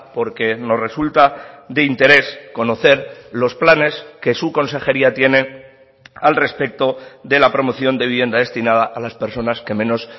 porque nos resulta de interés conocer los planes que su consejería tiene al respecto de la promoción de vivienda destinada a las personas que menos